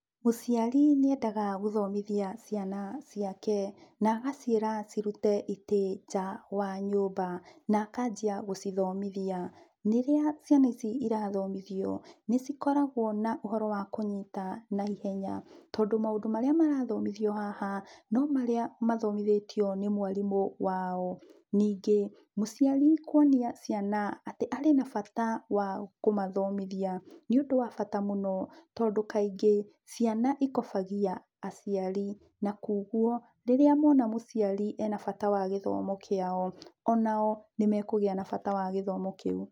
Mũciari nĩendaga gũthomithia ciana ciake na agaciĩra cirute ĩtĩĩ nja wa nyũmba na akanjia gũcithomithia. Rĩrĩa ciana ici irathomithio nĩ ci koragwo na ũhoro wa kũnyita na ihenya tondũ maũndũ marĩa marathomithio haha no marĩa mathomithĩtio nĩ mwarimũ wao. Ningĩ mũciari kũonia ciana atĩ arĩ na bata wa kũmathomĩthia, nĩ ũndũ wa bata mũno tondũ kaingĩ ciana ikobagia aciari na kogwo rĩrĩa mona mũciari ena bata wa gĩthomo kĩao onao nĩ mekũgĩa bata wa gĩthomo kĩũ.